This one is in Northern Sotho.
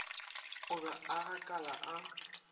o be a gakala a